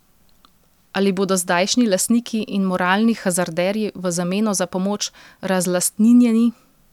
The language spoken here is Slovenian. Ali bodo zdajšnji lastniki in moralni hazarderji v zameno za pomoč razlastninjeni?